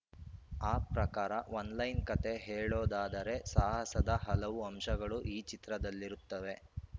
ಆ ಪ್ರಕಾರ ಒನ್‌ಲೈನ್‌ ಕತೆ ಹೇಳೋದಾದರೆ ಸಾಹಸದ ಹಲವು ಅಂಶಗಳು ಈ ಚಿತ್ರದಲ್ಲಿರುತ್ತವೆ